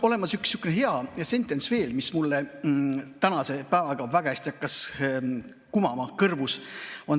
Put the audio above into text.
On veel üks sihuke hea sentents, mis mul seoses tänase päevaga väga hästi hakkas kõrvus kumama.